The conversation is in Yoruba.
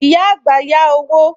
Ìyá àgbà yá owó